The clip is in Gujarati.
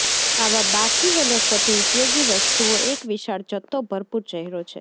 આવા બાકી વનસ્પતિ ઉપયોગી વસ્તુઓ એક વિશાળ જથ્થો ભરપૂર ચહેરો પર